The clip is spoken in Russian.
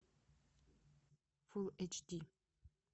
фулл эйч ди